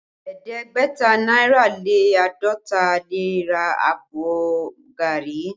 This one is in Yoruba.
Ẹ̀ẹ́dẹ́gbẹ̀ta náírà lé àádọ́ta lè ra àbọ̀ gari